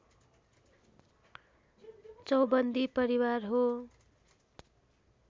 चौबन्दी परिवार हो